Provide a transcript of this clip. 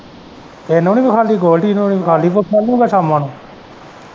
ਤੈਨੂੰ ਨੀ ਵਖਾਲੀ ਗੋਲਡੀ ਨੂੰ ਨੀ ਵਖਾਲੀ ਸ਼ਾਲੂ ਨੂੰ ਸ਼ਾਮਾ ਨੂੰ।